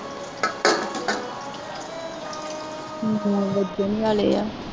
ਨੌ ਵੱਜਣ ਵਾਲੇ ਹੈ